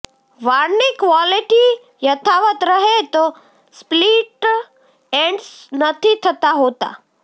વાળની ક્વોલિટી યથાવત રહે તો સ્પ્લિટ એન્ડ્સ નથી થતાં હોતાં